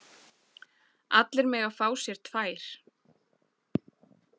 Allir mega fá sér tvær.